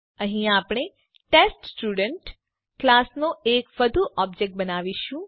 અહીં આપણે test student class નો એક વધુ ઓબજેક્ટ બનાવીશું